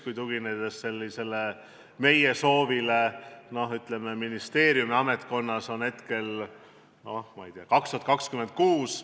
Kui aga tugineda meie soovile, siis ministeeriumi, ametkonna andmetel on selleks aastanumbriks hetkel, ma ei tea, 2026.